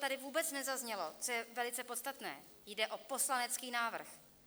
Tady vůbec nezaznělo, co je velice podstatné: jde o poslanecký návrh.